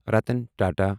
Ratan Tata